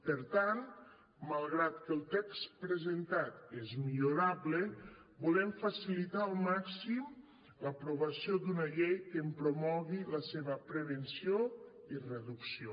per tant malgrat que el text presentat és millorable volem facilitar al màxim l’aprovació d’una llei que en promogui la seva prevenció i reducció